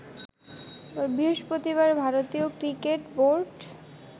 বৃহস্পতিবার ভারতীয় cricket board